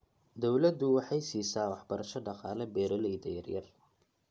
Dawladdu waxay siisaa waxbarasho dhaqaale beeralayda yaryar.